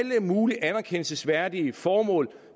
mulige anerkendelsesværdige formål